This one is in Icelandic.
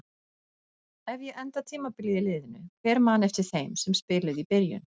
Ef ég enda tímabilið í liðinu, hver man eftir þeim sem spiluðu í byrjun?